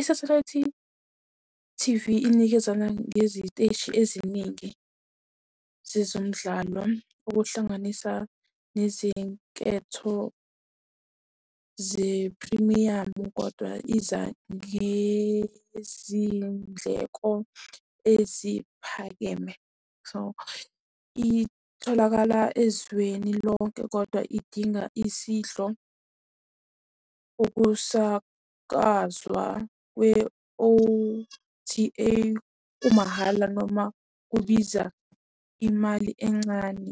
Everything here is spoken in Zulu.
Isathelayithi T_V, inikezana ngeziteshi eziningi zezemidlalo, okuhlanganisa nezinketho zephrimiyamu, kodwa iza nezindleko eziphakeme. So, itholakala ezweni lonke kodwa idinga isihlo. Ukusakazwa kwe-O_T_A kumahhala noma kubiza imali encane.